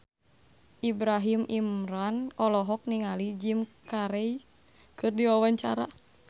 Ibrahim Imran olohok ningali Jim Carey keur diwawancara